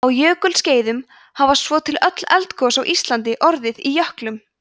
á jökulskeiðum hafa svo til öll eldgos á íslandi orðið í jöklum